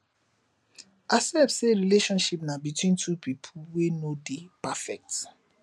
accept sey relationship na between two pipo wey no dey perfect